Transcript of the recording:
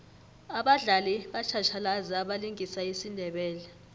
abadlali batjhatjhalazi abalingisa isindebele